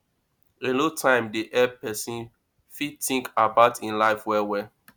alone time dey help person fit think about im life well well